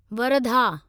Wardha